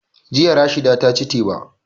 Jiya Rashida ta ci teba